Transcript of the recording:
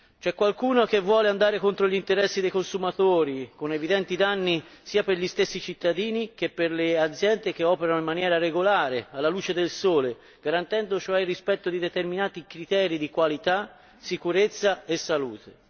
C'è qualcuno che vuole andare contro gli interessi dei consumatori, con evidenti danni sia per gli stessi cittadini che per le aziende che operano in maniera regolare, alla luce del sole, garantendo cioè il rispetto di determinati criteri di qualità, sicurezza e salute.